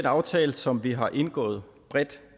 aftale som vi har indgået bredt